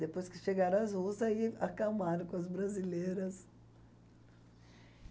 Depois que chegaram as russas, aí acalmaram com as brasileiras.